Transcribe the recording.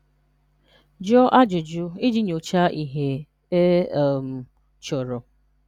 Jụ́ọ̀ ajụ́jụ̀ iji nyòcháà ihè e um chọ̀rọ̀.